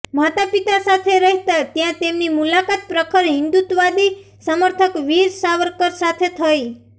માતા પિતા સાથે રહેતાં ત્યાં તેમની મુલાકાત પ્રખર હિંદુત્વવાદી સમર્થક વીર સાવરકર સાથે થઈ